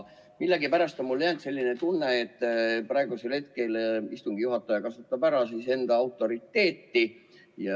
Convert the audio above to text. Millegipärast on mulle jäänud mulje, et praegusel hetkel kasutab istungi juhataja oma autoriteeti ära.